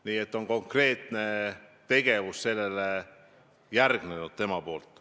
Nii et tema puhul on järgnenud konkreetne tegevus tema enda poolt.